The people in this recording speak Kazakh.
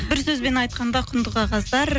бір сөзбен айтқанда құнды қағаздар